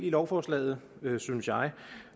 lovforslaget synes jeg